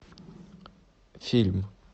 фильм